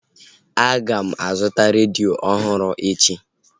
A ga m azụta redio ọhụrụ echi